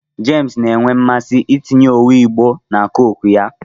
James na-enwe mmasị itinye owu Igbo na Coke ya